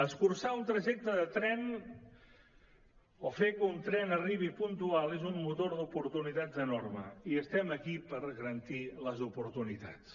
escurçar un trajecte de tren o fer que un tren arribi puntual és un motor d’oportunitats enorme i estem aquí per garantir les oportunitats